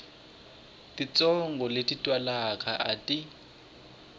titsongo leti twalaka a ti